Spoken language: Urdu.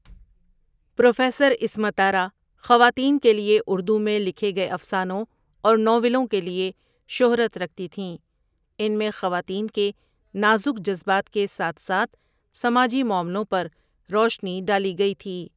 پروفیسر عصمت آرا خواتین کے لیے اردو میں لکھی گئے افسانوں اور ناولوں کے لیے شہرت رکھتی تھیں ان میں خواتین کے نازک جذبات کے ساتھ ساتھ سماجی معاملوں پر روشنی ڈالی گئی تھی۔